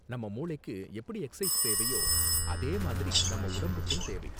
நம்ம மூளைக்கு எப்படி எக்சர்சைஸ் தேவையோ, அதே மாதிரி நம் உடம்புக்கும் தேவை.